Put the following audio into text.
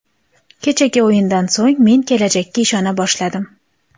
Kechagi o‘yindan so‘ng men kelajakka ishona boshladim.